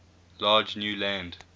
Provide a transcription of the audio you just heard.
large new land